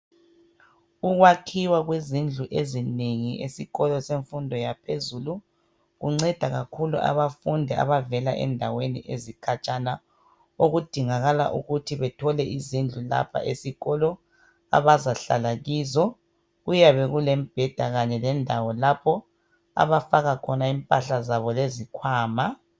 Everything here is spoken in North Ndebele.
Ukwakhiwa kwezindlu ezinengi esikolo semfundo yaphezulu kunceda kakhulu abafundi abavela endaweni ezikhatshana, okudingakala ukuthi bethole izindlu lapha esikolo, abazahlala kizo. Kuyabe lulembheda kanye lendawo lapho abafaka khona impahla zabo lezikhwama.